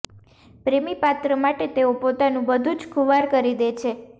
પ્રેમી પાત્ર માટે તેઓ પોતાનું બધુ જ ખુવાર કરી દે છે